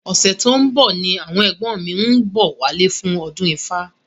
Ọ̀sẹ̀ tó ń bọ̀ ni àwọn ẹ̀gbọ́n mi ń bọ̀ wálé fún ọdún ifá